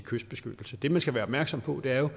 kystbeskyttelse det man skal være opmærksom på er jo